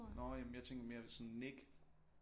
Nå jamen jeg tænkte mere sådan Nik